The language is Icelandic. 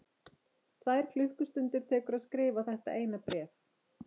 Tvær klukkustundir tekur að skrifa þetta eina bréf.